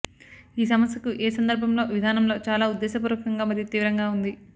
ఈ సమస్యకు ఏ సందర్భంలో విధానంలో చాలా ఉద్దేశపూర్వకంగా మరియు తీవ్రంగా ఉంది